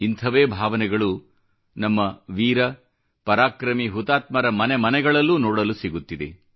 ಇಂಥವೇ ಭಾವನೆಗಳು ನಮ್ಮ ವೀರ ಪರಾಕ್ರಮಿ ಹುತಾತ್ಮರ ಮನೆ ಮನೆಗಳಲ್ಲೂ ನೋಡಲು ಸಿಗುತ್ತಿದೆ